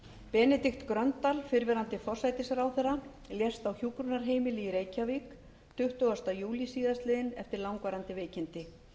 benedikt gröndal fyrrverandi forsætisráðherra lést á hjúkrunarheimili í reykjavík tuttugasta júlí síðastliðinn eftir langvarandi veikindi